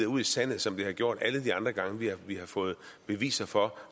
ud i sandet som det har gjort alle de andre gange vi har fået beviser for